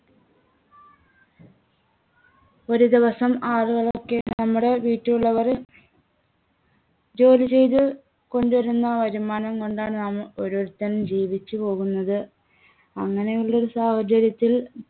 ഒരു ദിവസം ആളുകളൊക്കെ നമ്മുടെ വീട്ടിലുള്ളവർ ജോലി ചെയ്ത് കൊണ്ടുവരുന്ന വരുമാനം കൊണ്ടാണ് നമ്മ ഓരോരുത്തരും ജീവിച്ചുപോകുന്നത്. അങ്ങനെയുള്ള ഒരു സാഹചര്യത്തിൽ